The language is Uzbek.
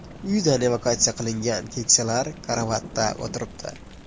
Uyidan evakuatsiya qilingan keksalar karavotda o‘tiribdi.